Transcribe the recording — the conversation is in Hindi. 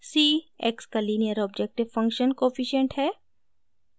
c : x का लीनियर ऑब्जेक्टिव फंक्शन कोफिशिएंट्स है